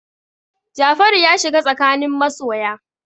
Jafaru ya shiga tsakanin masoya.